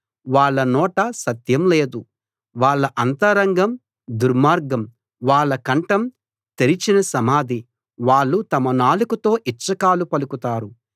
వాళ్ళ నోట సత్యం లేదు వాళ్ళ అంతరంగం దుర్మార్గం వాళ్ళ కంఠం తెరిచిన సమాధి వాళ్ళు తమ నాలుకతో ఇచ్చకాలు పలుకుతారు